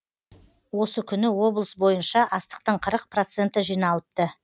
осы күні облыс бойынша астықтың қырық проценті жиналыпты